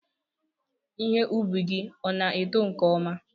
Ihe ubi gị ọ na-eto nke ọma?